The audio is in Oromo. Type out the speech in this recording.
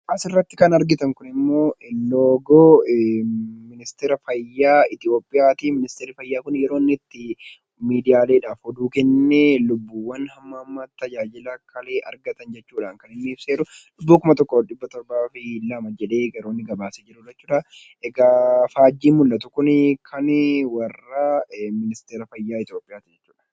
Asirratti kan argitan kunimmoo loogoo ministeera fayyaa Itoophiyaati. Ministeerri fayyaa kun yeroo inni itti miidiyaaleef odeeffannoo kennee lubbuuwwan hamma ammaatti tajaajilan fayyaa kalee argatan jechuudhaan kan inni ibsee jiru. Lubbuu 1702 jedhee gabaaseera. Egaa faanjiin mul'atu kun kan warra ministeera fayyaa Itoophiyaati.